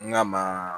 N ka maa